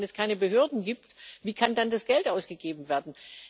Wenn es keine Behörden gibt, wie kann dann das Geld ausgegeben werden?